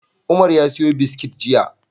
Umar ya siyo biskit jiya.